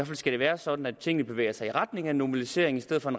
fald skal være sådan at tingene bevæger sig i retning af en normalisering i stedet for i